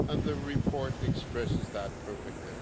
The report expresses that perfectly.